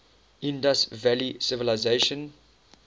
indus valley civilization